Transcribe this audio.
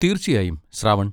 തീർച്ചയായും, ശ്രാവൺ.